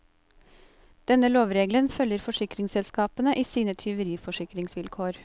Denne lovregelen følger forsikringsselskapene i sine tyveriforsikringsvilkår.